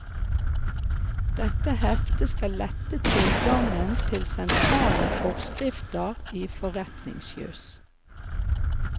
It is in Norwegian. Dette heftet skal lette tilgangen til sentrale forskrifter i forretningsjus.